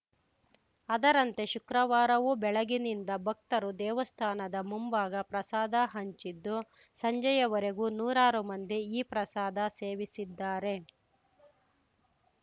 ಅದರಂತೆ ಶುಕ್ರವಾರವೂ ಬೆಳಗಿನಿಂದ ಭಕ್ತರು ದೇವಸ್ಥಾನದ ಮುಂಭಾಗ ಪ್ರಸಾದ ಹಂಚಿದ್ದು ಸಂಜೆಯವರೆಗೂ ನೂರಾರು ಮಂದಿ ಈ ಪ್ರಸಾದ ಸೇವಿಸಿದ್ದಾರೆ